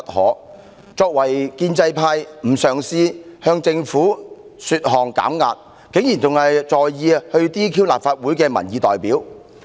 他們作為建制派成員，非但不嘗試遊說政府為社會減壓，竟還着手除去立法會的民意代表。